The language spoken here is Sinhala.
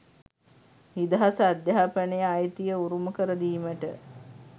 නිදහස් අධ්‍යාපන අයිතිය උරුමකර දීමට